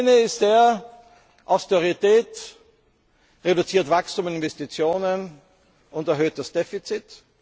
Der eine ist Austerität, er reduziert Wachstum und Investitionen und erhöht das Defizit.